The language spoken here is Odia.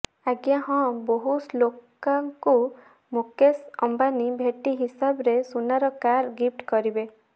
ଅଜ୍ଞା ହଁ ବୋହୂ ଶ୍ଲୋକାଙ୍କୁ ମୁକେଶ ଅମ୍ବାନୀ ଭେଟି ହିସାବରେ ସୁନାର କାର୍ ଗିଫ୍ଟ କରିବେ